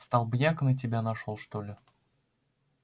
столбняк на тебя нашёл что ли